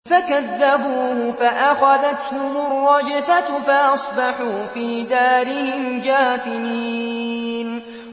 فَكَذَّبُوهُ فَأَخَذَتْهُمُ الرَّجْفَةُ فَأَصْبَحُوا فِي دَارِهِمْ جَاثِمِينَ